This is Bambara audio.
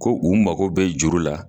Ko u mago bɛ juru la.